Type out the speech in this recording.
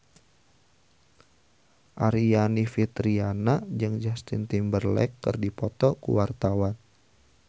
Aryani Fitriana jeung Justin Timberlake keur dipoto ku wartawan